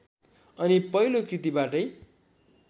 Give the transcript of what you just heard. अनि पहिलो कृतिबाटै